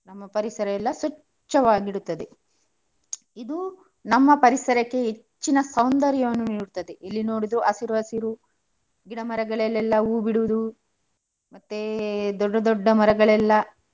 ನಮ್ಮ ಪರಿಸರ ಎಲ್ಲಾ ಸ್ವಚ್ಛವಾಗಿ ಇಡುತ್ತದೆ. ಇದು ನಮ್ಮ ಪರಿಸರಕ್ಕೆ ಹೆಚ್ಚಿನ ಸೌಂದರ್ಯವನ್ನು ನೀಡುತ್ತದೆ, ಎಲ್ಲಿ ನೋಡಿದ್ರು ಹಸಿರು ಹಸಿರು ಗಿಡ ಮರಗಳಲೆಲ್ಲಾ ಹೂ ಬಿಡುದು. ಮತ್ತೆ ದೊಡ್ಡ ದೊಡ್ಡ ಮರಗಳೆಲ್ಲಾ.